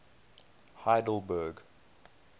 heidelberg